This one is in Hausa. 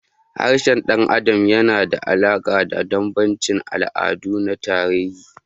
Harshen ɗan adam yana da alaƙa da bambancin al'adu da na tarihi.